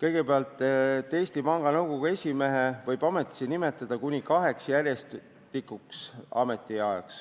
Kõigepealt, Eesti Panga Nõukogu esimehe võib ametisse nimetada kuni kaheks järjestikuseks ametiajaks